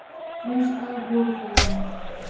Frumstæð voru þau vinnubrögð öll.